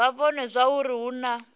vha vhone zwauri hu na